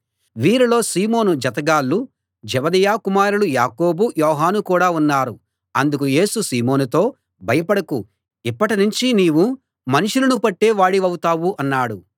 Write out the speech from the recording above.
వీరిలో సీమోను జతగాళ్ళు జెబెదయి కుమారులు యాకోబు యోహాను కూడా ఉన్నారు అందుకు యేసు సీమోనుతో భయపడకు ఇప్పటి నుంచి నీవు మనుషులను పట్టే వాడివవుతావు అన్నాడు